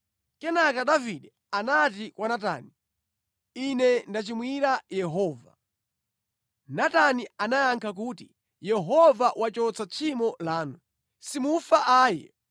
Kenaka Davide anati kwa Natani, “Ine ndachimwira Yehova.” Natani anayankha kuti, “Yehova wachotsa tchimo lanu. Simufa ayi.